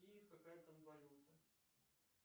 киев какая там валюта